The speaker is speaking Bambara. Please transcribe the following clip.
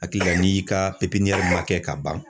Hakili la n'i ka man kɛ ka ban